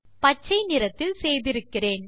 பச்சை நிறத்தில் செய்திருக்கிறேன்